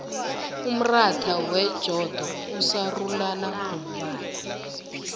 umratha wejodo usarulana ngombala